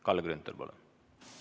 Kalle Grünthal, palun!